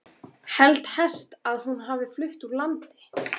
Held helst að hún hafi flutt úr landi.